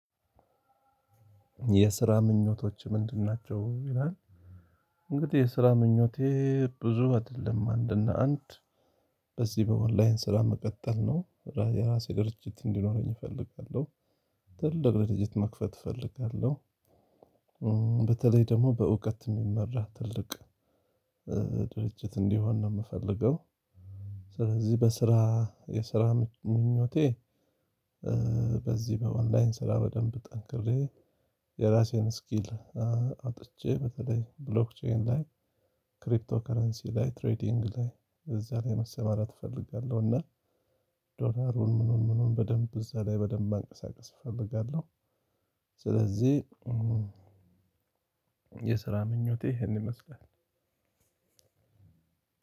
የስራ ምኞቶችህ ምንድናቸው ይላል? እንግዲህ የስራ ምኞቴ ብዙ አይደለም አንደ አንድ በዚህ በኦንላይን ስራ መቀጠል ነው የራሴ ድርጅት እንዲኖረኝ እፈልጋለሁ። ትልቅ ድርጅት መክፈት እፈልጋለሁ። በተለይ ደግሞ በእውቀት የሚመራ ትልቅ ድርጅት እንዲሆን ነው የምፈልገው። ስለዚህ በስራ የስራ ምኞቴ። በዚህ በኦንላይን ስራ በደንብ ጠንክሬ የራሴን ስኪል አውጥቼ በተለይ ብሎክቼን ላይ ክሪፕቶ ከረንሲ ላይ ትሬዲንግ ላይ እዛ ላይ መሰማራት እፈልጋለሁ። እና ዶላሩን ምኑን ምኑን በደንብ እዛ ላይ በደንብ ማንቀሳቀስ እፈልጋለሁ። ስለዚህ የስራ ምኞቴ ይሄን ይመስላል።